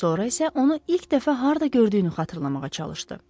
Sonra isə onu ilk dəfə harda gördüyünü xatırlamağa çalışdı.